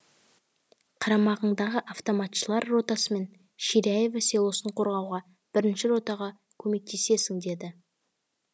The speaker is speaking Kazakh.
қарамағыңдағы автоматшылар ротасымен ширяево селосын қорғауға бірінші ротаға көмектесесің деді